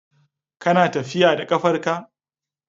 Kana tafiya da ƙafar ka.